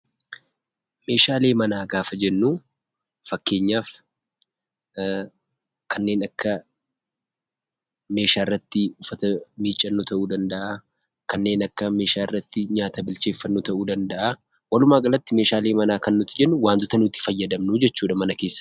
Meeshaalee manaa gaafa jennuu, fakkeenyaaf kanneen akka meeshaa irratti miiccannu ta'uu danda'a, kanneen akka meeshaa irratti bilcheeffannuu ta'uu danda'a walumaa galatti Meeshaalee manaa kan nuti jennu waantota nuti fayyadamnuu jechuudha mana keessatti